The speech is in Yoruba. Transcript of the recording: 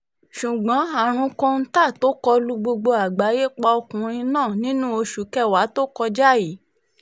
ṣùgbọ́n àrùn kóńtà tó kọ lu gbogbo ayé pa ọkùnrin náà nínú oṣù kẹwàá tó kọjá yìí